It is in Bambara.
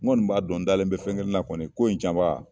N kɔni b'a dɔn n dalen bɛ fɛn kelen na kɔni ko in can baga